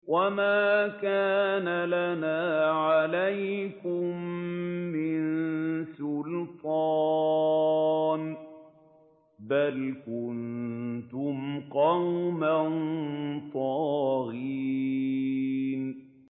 وَمَا كَانَ لَنَا عَلَيْكُم مِّن سُلْطَانٍ ۖ بَلْ كُنتُمْ قَوْمًا طَاغِينَ